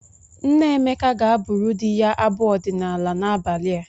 Nne Emeka ga-abụrụ di ya abụ ọdịnaala n'abalị a.